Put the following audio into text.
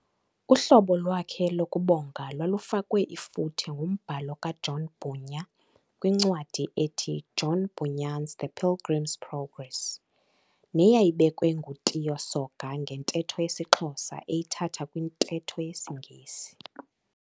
Uhlobo lwakhe lokubonga lwalufakwe ifuthe ngumbhalo ka-John Bhunya kwincwadi ethi "John Bunyan's The Pilgrim's Progress" neyayibekwe nguTiyo Soga ngentetho yesiXhosa eyithatha kwintetho yesiNgesi.